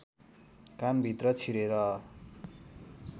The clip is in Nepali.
कानभित्र छिरेर